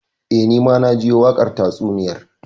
Eh, Ni ma na jiyo wakar tatsuniyar.